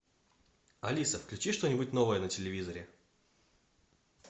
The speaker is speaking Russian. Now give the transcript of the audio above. алиса включи что нибудь новое на телевизоре